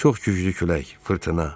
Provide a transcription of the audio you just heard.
Çox güclü külək, fırtına.